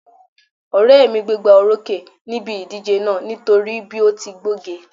Ọ̀rẹ́ mi gbégbóorókè níbi ìdíje náà nítorí bí ó ti gbóge